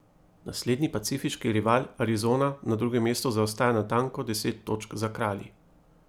Naslednji pacifiški rival Arizona na drugem mestu zaostaja natanko deset točk za kralji.